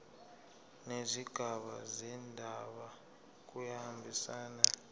nezigaba zendaba kuyahambisana